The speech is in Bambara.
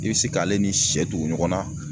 I be se k'ale ni sɛ tugu ɲɔgɔn na